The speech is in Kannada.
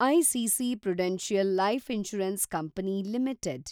ICC prudential life insurance company limited